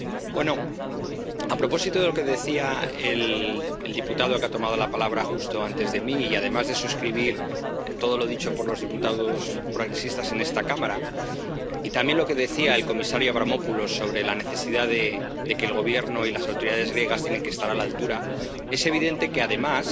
Bueno, a propósito de lo que decía el diputado que ha tomado la palabra justo antes de mí, y además de suscribir todo lo dicho por los diputados progresistas en esta Cámara, y también lo que decía el comisario Avramopoulos sobre la necesidad de que el Gobierno y las autoridades griegas estén a la altura, es evidente que, además,